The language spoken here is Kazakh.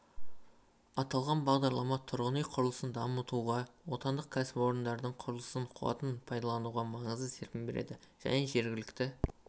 аталған бағдарлама тұрғын үй құрылысын дамытуға отандық кәсіпорындардың құрылыс қуатын пайдалануға маңызды серпін береді және жергілікті